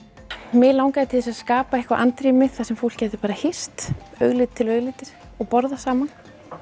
mig langaði til að skapa eitthvað andrými þar sem fólk gæti hist augliti til auglitis og borðað saman